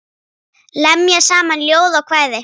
Lemja saman ljóð og kvæði.